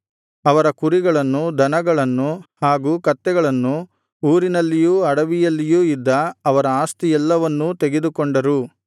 ಅವರ ಕುರಿಗಳನ್ನು ದನಗಳನ್ನು ಹಾಗೂ ಕತ್ತೆಗಳನ್ನು ಊರಿನಲ್ಲಿಯೂ ಅಡವಿಯಲ್ಲಿಯೂ ಇದ್ದ ಅವರ ಆಸ್ತಿಯೆಲ್ಲವನ್ನೂ ತೆಗೆದುಕೊಂಡರು